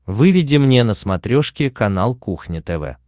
выведи мне на смотрешке канал кухня тв